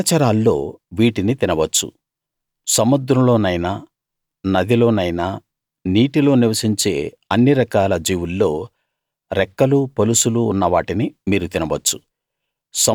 జలచరాల్లో వీటిని తినవచ్చు సముద్రంలోనైనా నదిలో నైనా నీటిలో నివసించే అన్ని రకాల జీవుల్లో రెక్కలూ పొలుసులూ ఉన్న వాటిని మీరు తినవచ్చు